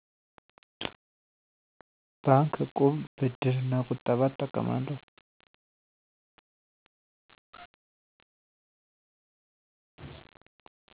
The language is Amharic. ባንክ፣ እቁብ፣ ብድር እና ቁጠባ እጠቀማለሁ።